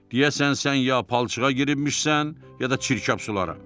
Deyəsən sən ya palçığa giribmişsən, ya da çirkab sulara.